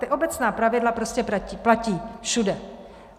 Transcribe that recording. Ta obecná pravidla prostě platí všude.